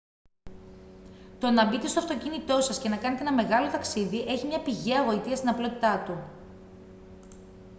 το να μπείτε στο αυτοκίνητο σας και να κάνετε ένα μεγάλο ταξίδι έχει μια πηγαία γοητεία στην απλότητά του